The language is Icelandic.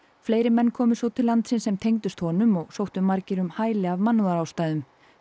fleiri menn komu svo til landsins sem tengdust honum og sóttu margir um hæli af mannúðarástæðum